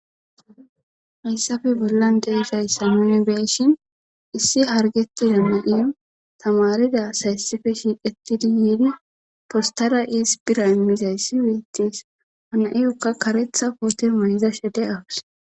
hayssappe bollan de'izaysa inni beeshin issi hargetida na7iy tamarida sayssife shiiqetidi yiidi postara iis pira immizayssi weettis ana7iyukka karetha koote mayizashe de'awus